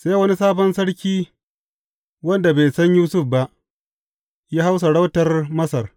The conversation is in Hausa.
Sai wani sabon sarki wanda bai san Yusuf ba, ya hau sarautar Masar.